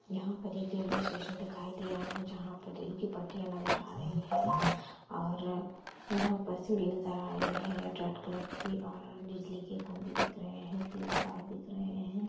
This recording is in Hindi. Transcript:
यहाँ पर एक रेलवे स्टेशन दिखाई दे रहा है जहां पर रेल की पटरियाँ नजर आ रही है| और यहाँ पर सीढ़ी नजर आ रही है रेड कलर की और बिजली के खंबे दिख रहे है| बिजली के तार दिख रहे है।